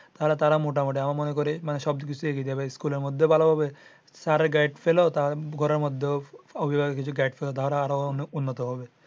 তারা তারা মোটামুটি আমি মনে করি মানে সব কিছু দিয়ে সেভ হবে স্কুলের মধ্যে ভালো হবে স্যারের গাইড ফেল ঘরের মধ্যে ও অভিবাভক কিছু গাইড ফেল তারা আরও অনেক উন্নত হবে